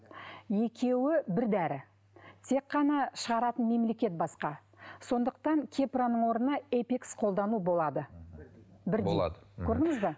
екеуі бір дәрі тек қана шығаратын мемлекет басқа сондықтан кепраның орнынан эпикс қолдану болады мхм болады көрдіңіз бе